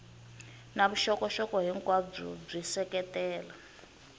na vuxokoxoko hinkwabyo byi seketela